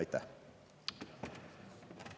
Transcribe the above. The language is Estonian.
Aitäh!